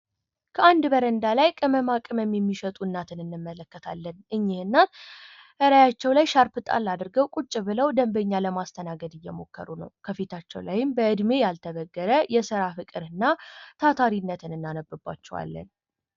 ከአንድ በረንዳ ላይ ቅመማ ቅመም የሚሸጡ እናትን እንመለከታለን። እኒህ እናት ከላያቸው ላይ ሻርፕ ጣል አድርገው ቁጭ ብለው ደንበኛ ለማስተናገድ እየሞከሩ ነው። ከፊታቸው ላይም በእድሜ ያልተበገረ የስራ ፍክር እና ታታሪነትን እናነብባቸዋለን።